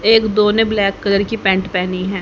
एक दो ने ब्लैक कलर की पैंट पहनी है।